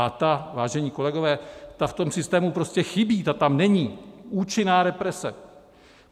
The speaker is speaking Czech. A ta, vážení kolegové, ta v tom systému prostě chybí, ta tam není, účinná represe.